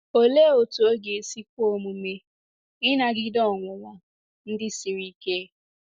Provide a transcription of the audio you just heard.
Olee otú ọ ga-esi kwe omume ịnagide ọnwụnwa ndị siri ike?